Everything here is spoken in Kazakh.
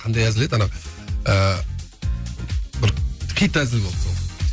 қандай әзіл еді ана ыыы бір хит әзіл болды сол